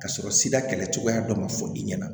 Ka sɔrɔ sida kɛlɛcogoya dɔ ma fɔ i ɲɛna